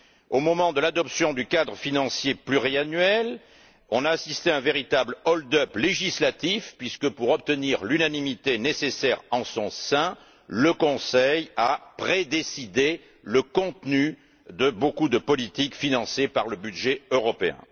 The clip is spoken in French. Au moment de l'adoption du cadre financier pluriannuel, on a assisté à un véritable hold up législatif, puisque, pour obtenir l'unanimité nécessaire en son sein, le Conseil a prédécidé le contenu de beaucoup de politiques financées par le budget européen.